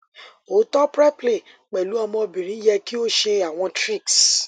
o to preplay pẹlu ọmọbirin yẹ ki o ṣe awọn tricks